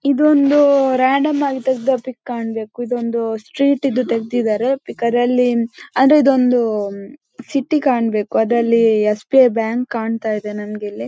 ಇದೊಂದು ರಾಂಡಮ್ ಆಗಿ ತಗೆದ ಪಿಕ್ ಕಾಣ್ಬೇಕು ಇದೊಂದು ಸ್ಟ್ರೀಟ್ ಇದು ತಾಗ್ದಿದಾರೆ ಫಿಕ್ ಅದರಲ್ಲಿ ಆದ್ರೆ ಇದೊಂದು ಹ್ಮ್ ಸಿಟಿ ಕಾಣ್ಬೇಕು ಅದರಲ್ಲಿ ಎಸ್.ಬಿ.ಐ.ಬ್ಯಾಂಕ್ ಕಾಣ್ತಯಿದೆ ನನಿಗೆ ಇಲ್ಲಿ.